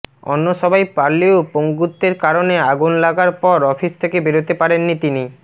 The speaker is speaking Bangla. অন্য সবাই পারলেও পঙ্গুত্বের কারণে আগুন লাগার পর অফিস থেকে বেরোতে পারেননি তিনি